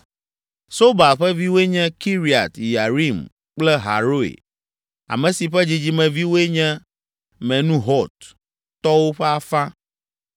Sobal ƒe viwoe nye Kiriat Yearim kple Haroe, ame si ƒe dzidzimeviwoe nye Menuhot tɔwo ƒe afã.